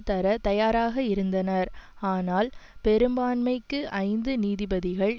தர தயாராக இருந்தனர் ஆனால் பெரும்பான்மைக்கு ஐந்து நீதிபதிகள்